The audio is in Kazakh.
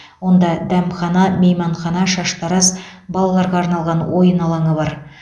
онда дәмхана мейманхана шаштараз балаларға арналған ойын алаңы бар